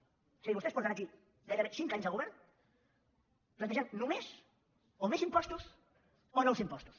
o sigui vostès porten aquí gairebé cinc anys de govern plantejant només o més impostos o nous impostos